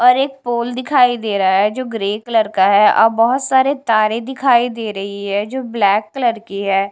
और एक पोल दिखाई दे रहा है जो ग्रे कलर का है और बहोत सारे तारे दिखाई दे रही है जो ब्लैक कलर की है।